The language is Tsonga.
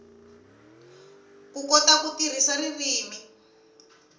ku kota ku tirhisa ririmi